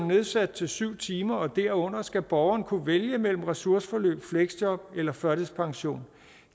nedsat til syv timer og derunder skal borgeren kunne vælge mellem ressourceforløb fleksjob eller førtidspension